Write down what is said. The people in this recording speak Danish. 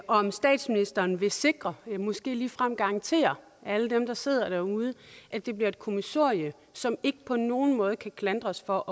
om statsministeren vil sikre måske ligefrem garantere alle dem der sidder derude at det bliver et kommissorie som ikke på nogen måde kan klandres for